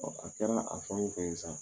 a kɛra a fɛn o fɛn sa